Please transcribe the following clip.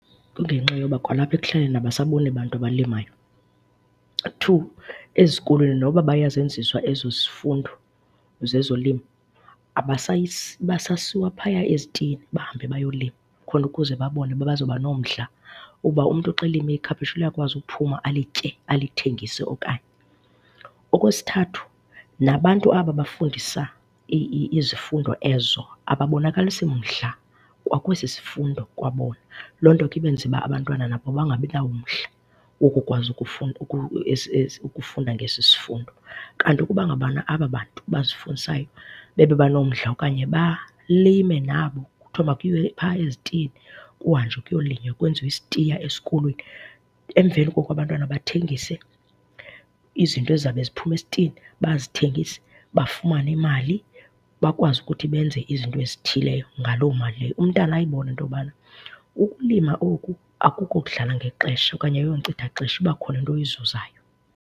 Kungenxa yoba kwalapha ekuhlaleni abasaboni bantu abalimayo. Two, ezikolweni noba bayazenziswa ezo zifundo zezolimo abasasiwa phaya ezitiyeni bahambe bayolima khona ukuze babone uba bazoba nomdla uba umntu xa elime ikhaphetshu liyakwazi uphuma, alitye, alithengise okanye. Okwesithathu, nabantu aba bafundisa izifundo ezo, ababonakalisi mdla kwa kwesisifundo kwabona. Loo nto ke ibenze uba abantwana nabo bangabi nawo umdla wokukwazi ukufunda ukufunda ngesisifundo. Kanti ukuba ngaba kwa ababantu basifundisayo bebe banomdla okanye balime nabo, kuthiwe makuyiwe phaa ezitiyeni. Kuhanjwe kuyolinywa kwenziwe isitiya esikolweni, emveni koko abantwana bathengise izinto ezizabe ziphume esitiyeni. Bazithengise bafumane imali bakwazi ukuthi benze izinto ezithileyo ngaloo mali leyo. Umntana ayibone into yobana ukulima oku akuko kudlala ngexesha okanye ayiyonkcithaxesha, kuba khona into oyizuzayo.